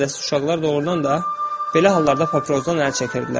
Qorxaq və iradəsiz uşaqlar doğrudan da belə hallarda papirosdan əl çəkirdilər.